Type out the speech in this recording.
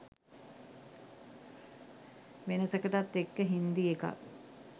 වෙනසකටත් එක්ක හින්දි එකක්